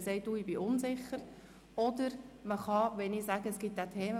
Man kann gegen einen Themenblock auch Einsprache erheben.